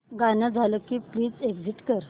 गाणं झालं की प्लीज एग्झिट कर